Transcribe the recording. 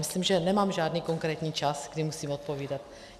Myslím, že nemám žádný konkrétní čas, kdy musím odpovídat.